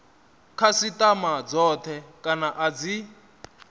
khasitama dzothe kana a dzi